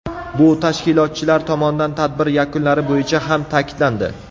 Bu tashkilotchilar tomonidan tadbir yakunlari bo‘yicha ham ta’kidlandi.